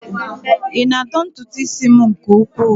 Ị na-adọ ntutu isi m nke ukwuu?